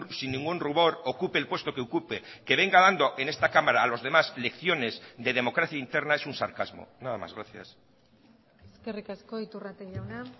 sin ningún rubor ocupe el puesto que ocupe que venga dando en esta cámara a los demás lecciones de democracia interna es un sarcasmo nada más gracias eskerrik asko iturrate jauna